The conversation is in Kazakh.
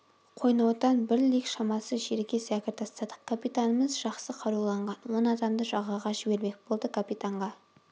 қойнаудан бір лиг шамасы жерге зәкір тастадық капитанымыз жақсы қаруланған он адамды жағаға жібермек болды капитанға